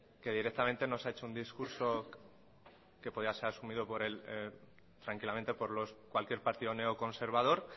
que directamente nos ha hecho un discurso que podía ser asumido tranquilamente por cualquier partido neoconservador